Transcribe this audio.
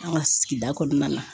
An' ŋa sigida kɔnɔna na